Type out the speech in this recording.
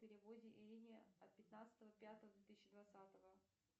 переводе ирине от пятнадцатого пятого две тысячи двадцатого